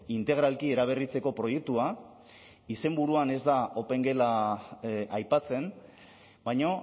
integralki eraberritzeko proiektua izenburuan ez da opengela aipatzen baina